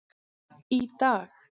Í dag,